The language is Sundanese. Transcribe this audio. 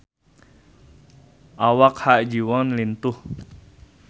Awak Ha Ji Won lintuh